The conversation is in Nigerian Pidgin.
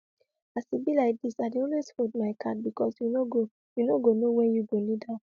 as e be like this i dey always hold my card because you no go you no go know when you go need am